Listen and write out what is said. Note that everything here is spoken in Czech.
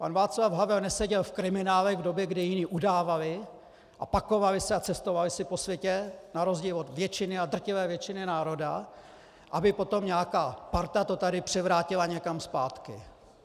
Pan Václav Havel neseděl v kriminále v době, kdy jiní udávali a pakovali se a cestovali si po světě, na rozdíl od většiny, a drtivé většiny národa, aby potom nějaká parta to tady převrátila někam zpátky.